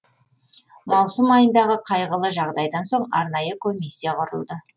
маусым айындағы қайғылы жағдайдан соң арнайы комиссия құрылды